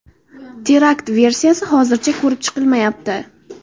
Terakt versiyasi hozircha ko‘rib chiqilmayapti.